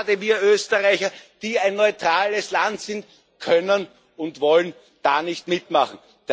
Gerade wir Österreicher, die ein neutrales Land sind, können und wollen da nicht mitmachen.